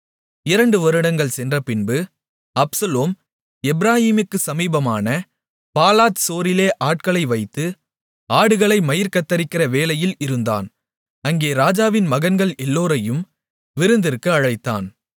இரண்டு வருடங்கள் சென்றபின்பு அப்சலோம் எப்பிராயீமுக்குச் சமீபமான பாலாத்சோரிலே ஆட்களை வைத்து ஆடுகளை மயிர் கத்தரிக்கிற வேலையில் இருந்தான் அங்கே ராஜாவின் மகன்கள் எல்லோரையும் விருந்திற்கு அழைத்தான்